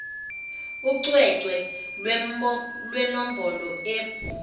ucwecwe lwenombholo eb